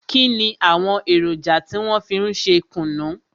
Kínni àwọn èròjà tí wọn fi ń ṣe kùnú?